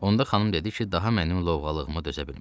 Onda xanım dedi ki, daha mənim lovğalığımı dözə bilmir.